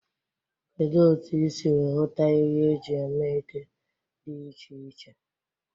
Kedu otu ị siri hụta ihe eji eme ede dị iche iche?